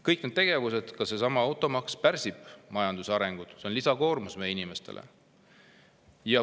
Kõik need tegevused, ka seesama automaks, pärsivad majanduse arengut, see on lisakoormus meie inimestele.